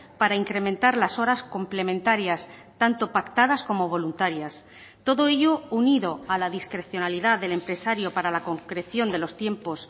para incrementar las horas complementarias tanto pactadas como voluntarias todo ello unido a la discrecionalidad del empresario para la concreción de los tiempos